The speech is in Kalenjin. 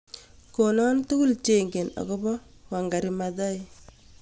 Konon tugul chengen ago po Wangari Maathai